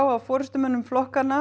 af forystumönnum flokkanna